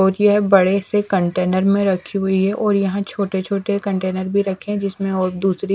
और यह बड़े से कंटेनर में रखी हुई है और यहाँ छोटे-छोटे कंटेनर भी रखे हुए है जिसमें और दूसरी --